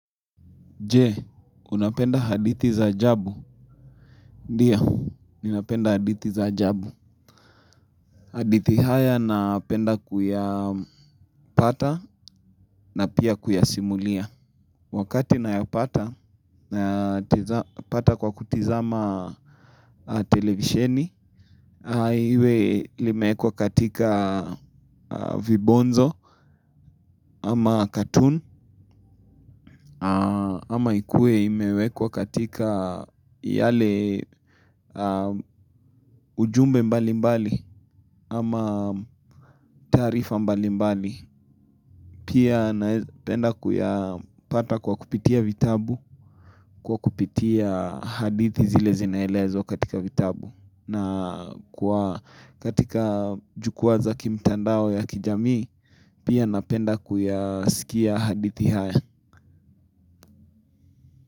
Je, unapenda hadithi za ajabu. Ndio, ninapenda hadithi za ajabu. Hadithi haya napenda kuyapata na pia kuyasimulia. Wakati nayapata kwa kutizama televisheni. Iwe limeekwa katika vibonzo ama cartoon. Ama ikue imewekwa katika yale ujumbe mbalimbali ama taarifa mbalimbali. Pia napenda kuyapata kwa kupitia vitabu kwa kupitia hadithi zile zinaelezwa katika vitabu. Na katika jukwa za kimtandao ya kijamii pia napenda kuyasikia hadithi haya.